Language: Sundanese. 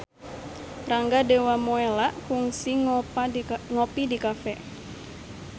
Rangga Dewamoela kungsi ngopi di cafe